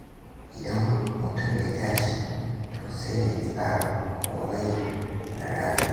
Idan mutum ya tashi, to sai ya tsara komai na ranar.